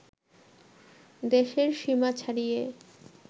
দেশের সীমা ছাড়িয়ে